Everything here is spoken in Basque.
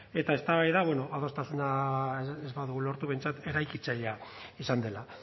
eta eztabaida bueno adostasuna ez badugu lortu behintzat eraikitzailea izan dela